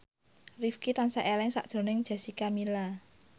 Rifqi tansah eling sakjroning Jessica Milla